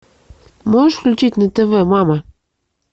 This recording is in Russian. можешь включить на тв мама